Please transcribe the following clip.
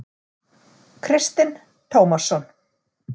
Kristinn Tómasson.